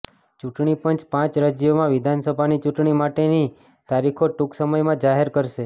ચૂંટણી પંચ પાંચ રાજ્યોમાં વિધાનસભાની ચૂંટણી માટેની તારીખો ટૂંક સમયમાં જાહેર કરશે